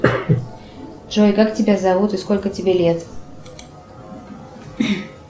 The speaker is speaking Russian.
джой как тебя зовут и сколько тебе лет